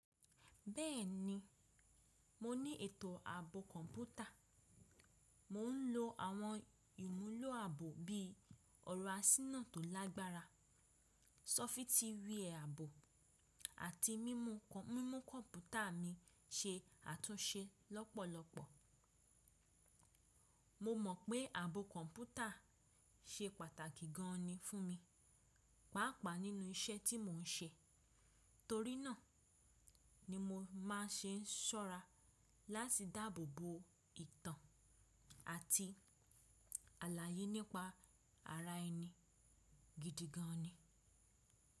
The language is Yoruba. Bẹ́ẹ̀ni, mo ní ètò ààbò kọ̀ǹpútà. Mò ń lò àwọn ìmúlò ààbò bí i ọ̀rọ̀ àsínà tó lágbára, sọ́fítì wẹ́ẹ̀àbò àti mímú kọ̀ǹpútà mi ṣe àtúnṣe lọ́pọ̀lọpọ̀. Mo mọ̀ pé ààbò kọ̀ǹpútà ṣe pàtàkì gan an ni fún mi, pàápàá nínú iṣẹ́ tí mò ń ṣe. Torí náà ni mo máa ń ṣe sọ́ra láti dáàbò bo ìtàn àti àlàyé nípa ara ẹni gidi gan an ni.